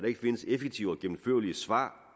ikke findes effektive og gennemførlige svar